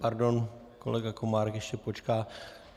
Pardon, kolega Komárek ještě počká.